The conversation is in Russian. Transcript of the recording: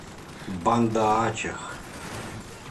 банда ачех